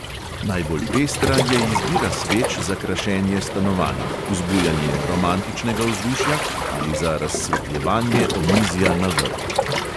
Najbolj pestra je izbira sveč za krašenje stanovanj, vzbujanje romantičnega vzdušja ali za razsvetljevanje omizja na vrtu.